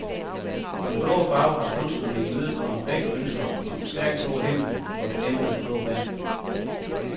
For den blå farve har kunstnerne imødekommet begge ønsker med den stærkt blå himmel og det dæmpede blå vand.